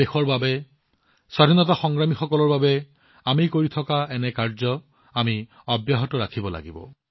দেশৰ বাবে স্বাধীনতা সংগ্ৰামীসকলৰ বাবে আমি যি লিখনিআয়োজন আদি কৰি আছো আমি সেইবোৰক অধিক আগুৱাই নিব লাগিব